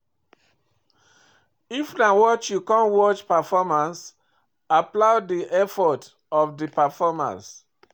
If na watch you come watch performance, applaud di effort of di performers